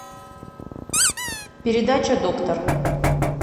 передача доктор